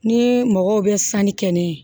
Ni mɔgɔw bɛ sanni kɛ ne ye